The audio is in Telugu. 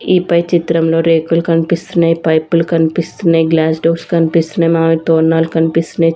ఈ పై చిత్రంలో రేకులు కనిపిస్తున్నాయి పైపులు కనిపిస్తున్నాయి గ్లాస్ డోర్స్ కనిపిస్తున్నాయి మామిడి తోర్ణాలు కనిపిస్తున్నాయి.